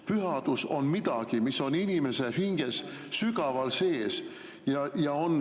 Pühadus on midagi, mis on inimese hinges sügaval sees.